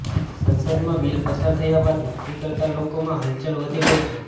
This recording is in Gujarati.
સંસદમાં બિલ પસાર થયા બાદ નોકરી કરતા લોકોમાં હલચલ વધી ગઈ છે